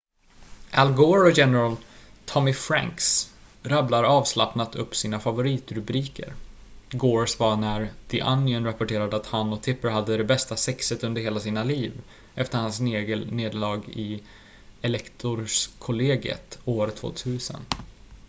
al gore och general tommy franks rabblar avslappnat upp sina favoritrubriker gores var när the onion rapporterade att han och tipper hade det bästa sexet under hela sina liv efter hans nederlag i elektorskollegiet år 2000